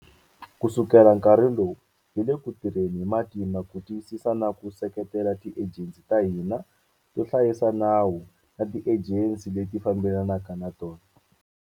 Kusukela nkarhi wolowo, hi le ku tirheni hi matimba ku tiyisisa na ku seketela tiejensi ta hina to hlayisa nawu na tiejensi leti fambela naka na tona.